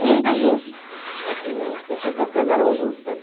E muito justo, assim, eu sentia que as coisas eram justas.